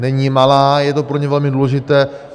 Není malá, je to pro ně velmi důležité.